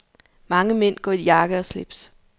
Mange mænd går i jakke og slips.